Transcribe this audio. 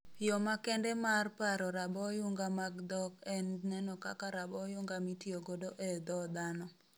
Yo makende maar paro raboyunga mag dhok en neno kaka raboyunga mitiyogodo ee dhoo dhano